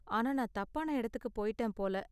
ஆனா நான் தப்பான எடத்துக்கு போய்ட்டேன் போல.